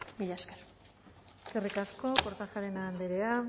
mila esker eskerrik asko kortajarena andrea